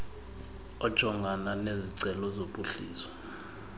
ojongana nezicelo zophuhliso